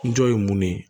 N jɔ ye mun ne ye